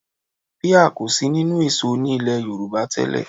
Píà kò sí nínú èso ní ilẹ̀ Yorùbá tẹ́lẹ̀